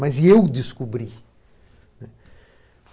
Mas eu descobri.